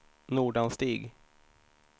Nordanstig